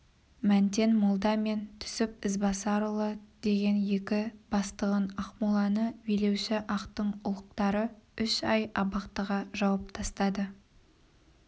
мәнтен молда мен түсіп ізбасарұлы деген екі бастығын ақмоланы билеуші ақтың ұлықтары үш ай абақтыға жауып тастады